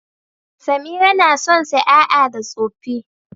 Samira na son saƴaƴa da tsoffi.